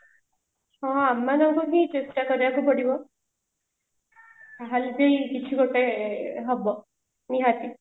ହଁ ଆମ ମାନଙ୍କୁ ବି ଚେଷ୍ଟା କରିବା କୁ ପଡିବ ତାହାଲେ ଯାଇ କିଛି ଗୋଟେ ହବ ନିହାତି